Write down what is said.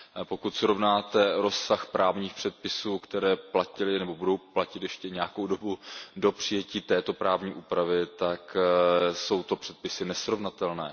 Pokud srovnáte rozsah právních předpisů, které platily nebo budou platit ještě nějakou dobu do přijetí této právní úpravy, tak jsou to předpisy nesrovnatelné.